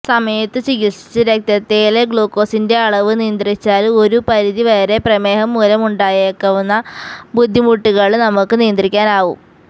സമയത്ത് ചികിത്സിച്ച് രക്തത്തില് ഗ്ലൂക്കോസിന്റെ അളവ് നിയന്ത്രിച്ചാല് ഒരു പരിധിവരെ പ്രമേഹം മൂലം ഉണ്ടായേക്കാവുന്ന ബുദ്ധിമുട്ടുകള് നമുക്ക് നിയന്ത്രിക്കാനാവും